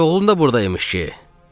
Dayıoğlu da burda imiş ki?